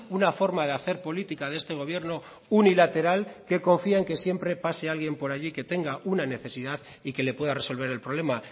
una forma de hacer política de este gobierno unilateral que confía en que siempre pase alguien por allí que tenga una necesidad y que le pueda resolver el problema